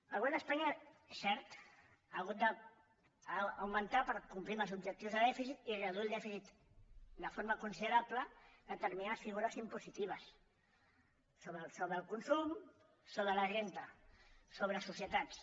el govern d’espanya és cert ha hagut d’augmentar per complir amb els objectius de dèficit i reduir dèficit de forma considerable determinades figures impositives sobre el consum sobre la renda sobre societats